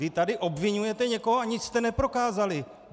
Vy tady obviňujete někoho, a nic jste neprokázali.